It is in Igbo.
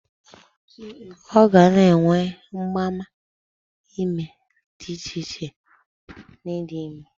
Ọ ga na-enwe mgbaàmà ime dị icheiche na idi ime